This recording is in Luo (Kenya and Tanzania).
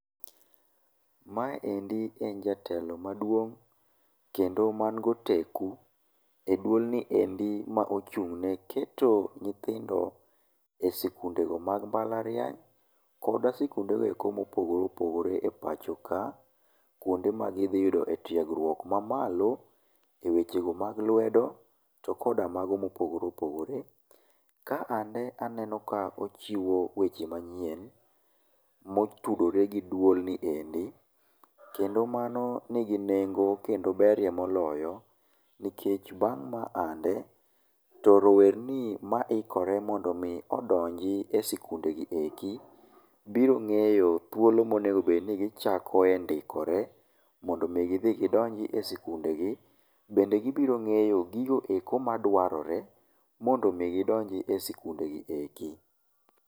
Maendi en jatelo maduong' kendo man goteku eduolno ma ochung' neketo nyithindo e sikundego mag mbalariany koda sikunde goeko mopogore opogore epachoka kuonde ma gidhi yude tiegruok mamalo ewechego mag lwedo to koda mago mopogore opogore. Ka endi aneno ka ochiwo weche manyien motudore gi duolno endi. Kendo mano nigi nengo ma berie moloyo. Nikech bang' ma ande to rowere maikore mondo mi odonji e sikunde gi eki, biro ng'eyo thuolo monego bed nigi chakoe ndikore mondo mi gidhi gidonj e sikundegi. Bende gibiro ng'eyo gigo madwarore mondo mi gidonj e sikunde gieki gibirong'eyo thuolo monego bed nigi chako ndikore mondo mi gidhi gidonjie,. Bende gibiro ng'eyo gigo eki madwarore mondo mi gidonji e sikundegi eki.